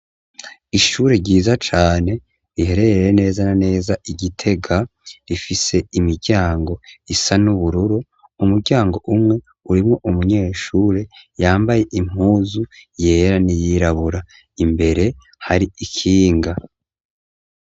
Ishure ryiza cane riherereye neza na neza i Gitega rifise imiryango isa n'ubururu, umuryango umwe urimwo umunyeshure yambaye impuzu yera n'iyirabura, imbere hari ikinga.